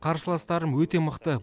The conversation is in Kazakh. қарсыластарым өте мықты